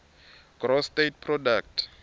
gross state product